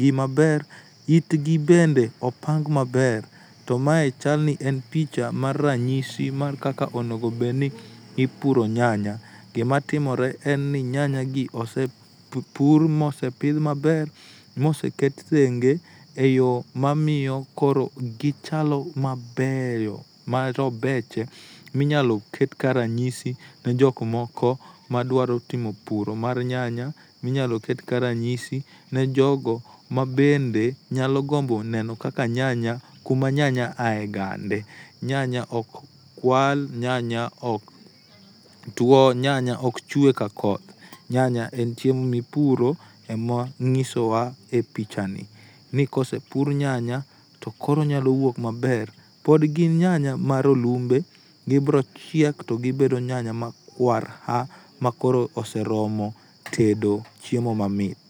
gi maber itgi bende opang maber to mae chalni en picha mar ranyisi mar kaka onego bed ni ipuro nyanya gima timore en ni nyanya gi osepur mose pidh maber mose ket thenge eiyo mamiyo koro gichalo mabeyo marobede miyalo ket ka ranyisi ne jok moko madwaro timo puro mar nyanya minyalo ket ka ranyisi ne jogo mabende nyalo gombo neno kaka nyanya kuma nyanya aegande. Nyanya ok kwal, nyanya ok two, nyanya ok chwe ka koth, nyanya en chiemo mipuro e mor nyisowa e pichani nikose pur nyanya to koro onyalo wuok maber pod gin nyanya marolumbe gibiro chiek to gibedo nyanya makwar ha makoro oseromo tedo chiemo mamit